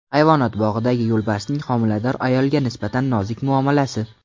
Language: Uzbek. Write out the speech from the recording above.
Hayvonot bog‘idagi yo‘lbarsning homilador ayolga nisbatan nozik muomalasi.